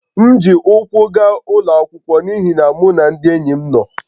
M ji ụkwụ gaa ụlọ akwụkwọ n’ihi na mụ na ndị enyi m nọ